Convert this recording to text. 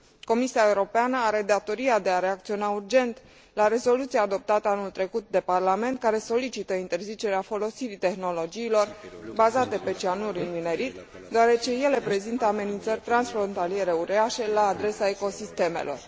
Comisia Europeană are datoria de a acționa urgent în urma rezoluției adoptate anul trecut de Parlament, care solicită interzicerea folosirii tehnologiilor bazate pe cianuri în minerit, deoarece ele prezintă amenințări transfrontaliere uriașe la adresa ecosistemelor.